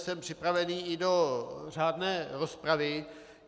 Jsem připraven i do řádné rozpravy.